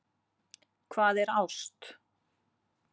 Hvað er ást